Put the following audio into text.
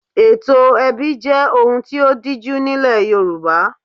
Ètò ẹbí jẹ́ ohun tí ó díjú nílẹ̀ Yorùbá.